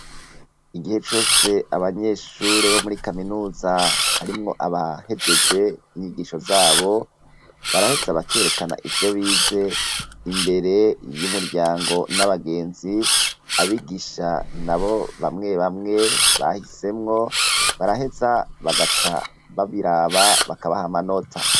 Igihe cose abanyeshure bo muri kaminuza harimwo abahejeje inyigisho zabo baraheza abakerekana ivyo bize imbere yo umuryango n'abagenzi abigisha na bo bamwe bamwe bahisemwo baraheza bagaca baviraa aba bakabaha manota.